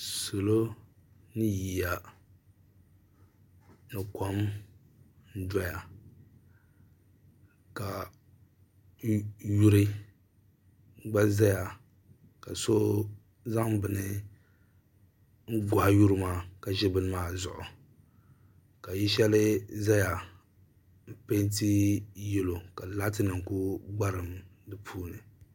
Salɔ ni yiya ni kom doya ka Yuri gba ʒɛya ka so zan bin gohi yuri maa ka ka ʒɛ bin maa zuɣu ka yili shɛli ʒɛya n pɛɛnti yɛlɔ ka laatinim ku gbarim di puuni